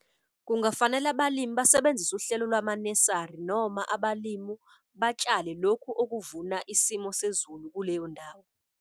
Kungafanale abalimi basebenzise uhlelo lwamanesari noma abalimu batshale lokhu okuvuna isimo sezulu kuleyo ndawo.